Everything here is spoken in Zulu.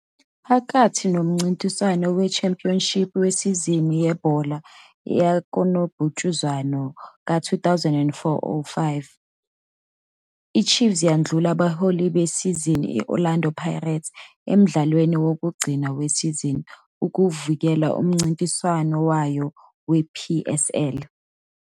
Phakathi nomncintiswano we-championship wesizini yebhola likanobhutshuzwayo ka-2004-05, i-Chiefs yadlula abaholi besizini, i-Orlando Pirates, emdlalweni wokugcina wesizini ukuvikela umncintiswano wayo we-PSL.